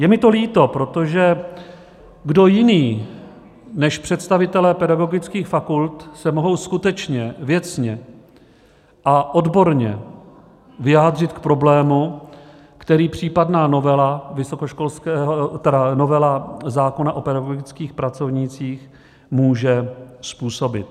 Je mi to líto, protože kdo jiný než představitelé pedagogických fakult se mohou skutečně věcně a odborně vyjádřit k problému, který případná novela zákona o pedagogických pracovnících může způsobit?